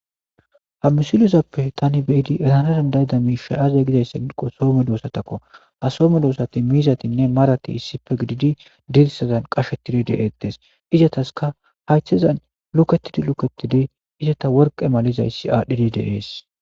ha misilizappe tani be7idi erana dandayida miisha aze gidayssa ginqo soo medoosatakko ha so medoosati miizatinne marati issife gididi dirsazan qashettidi de7ettes izataska haythezan luketidi luketidi izata worqe malizayssi aadhdhidi de7ees.